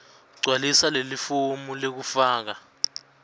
gcwalisa lelifomu lekufaka